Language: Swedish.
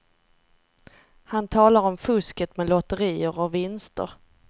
Han talar om fusket med lotterier och vinster.